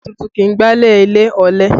Ìyàwó tuntun kì í gbá ilẹ̀ ilé, ọ̀lẹ